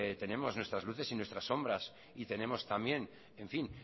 tenemos nuestras luces y nuestras sombras y tenemos también en fin